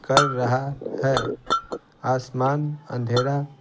कर रहा है आसमान अंधेरा--